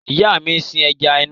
Ìyá mi sin ẹja nù.